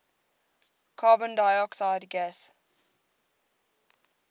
carbon dioxide gas